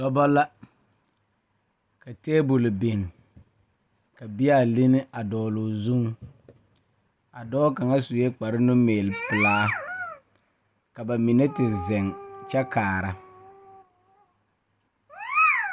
Dɔba la ka tabol biŋ ka bea linni a dɔgle o zuŋ a dɔɔ kaŋ sue kparenumeelepelaa ka ba mine te zeŋ kyɛ kaara.